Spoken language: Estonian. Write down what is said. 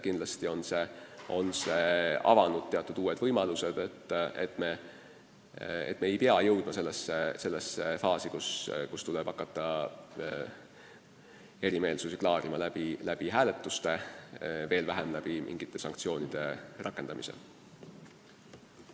Kindlasti on see avanud teatud uued võimalused, nii et me ei pea jõudma sellesse faasi, kus tuleb hakata eriarvamusi klaarima hääletuste teel või veelgi hullem, mingite sanktsioonide rakendamise teel.